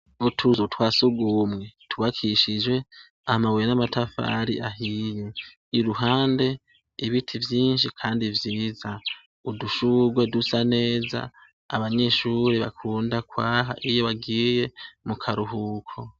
Mu tuzu twa sugumwe twubakishije amabuye n'amatafari ahiye, iruhande ibiti vyinshi kandi vyiza, udushurwe dusa neza, abanyeshure bakunda kwaha iyo bagiye mu karuhuko.